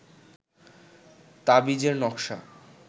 তাবিজের নকশা